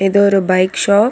இது ஒரு bike shop .